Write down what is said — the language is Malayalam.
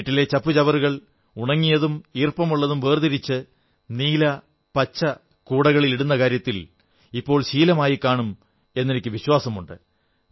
വീട്ടിലെ ചപ്പു ചവറുകൾ ഉണങ്ങിയതും ഈർപ്പമുള്ളതും വേർതിരിച്ച് നീലപച്ച കൂടകളിൽ ഇടുന്ന കാര്യത്തിൽ ഇപ്പോൾ ശീലമായിക്കാണും എന്നെനിക്കു വിശ്വാസമുണ്ട്